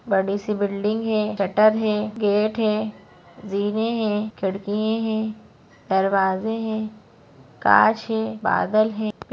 बडी सी बिल्डिंग है शटर है गेट है जीने है खिड़कीए है दरवाजे है काच है बादल है।